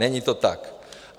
Není to tak.